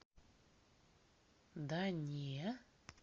да не